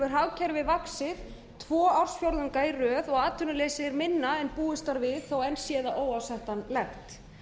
hagkerfið vaxið tvo ársfjórðunga í röð og atvinnuleysið minna en búist var við þó enn sé það óásættanlegt